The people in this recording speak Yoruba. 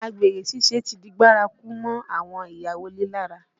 Àgbèrè ṣíṣe ti di bárakú mọ́ àwọn ìyàwó ilé lára